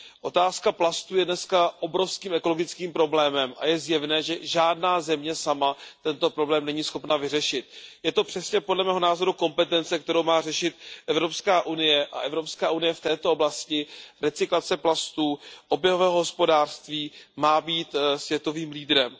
Otázka plastů je dnes obrovským ekologickým problémem a je zjevné, že žádná země sama tento problém není schopna vyřešit. Je to přesně podle mého názoru kompetence, kterou má řešit EU, a EU v této oblasti recyklace plastů, oběhového hospodářství má být světovým lídrem.